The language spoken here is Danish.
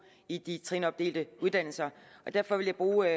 i de trinopdelte uddannelser derfor vil jeg bruge